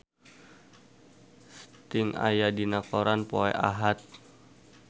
Sting aya dina koran poe Ahad